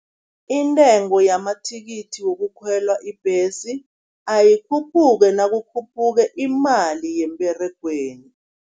Intengo yamathikithi wokukhwelwa ibhesi, ayikhuphuke nakukhuphuke imali yemberegweni.